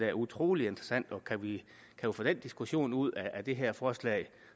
er utrolig interessant og kan vi få den diskussion ud af det her forslag